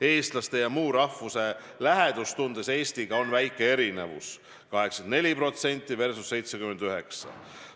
Eestlaste ja muu rahvuse lähedustundes Eestiga on väike erinevus: 84% versus 79%.